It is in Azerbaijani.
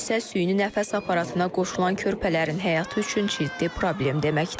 Bu isə süni nəfəs aparatına qoşulan körpələrin həyatı üçün ciddi problem deməkdir.